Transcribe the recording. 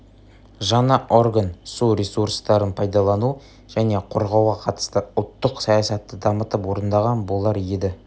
жаңа орган су ресурстарын пайдалану және қорғауға қатысты ұлттық саясатты дамытып орындаған болар еді